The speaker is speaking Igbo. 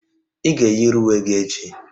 Ị ga-eyiri uwe gị echi!